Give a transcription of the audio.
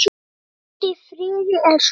Hvíldu í friði, elsku Keli.